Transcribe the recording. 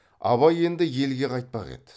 абай енді елге қайтпақ еді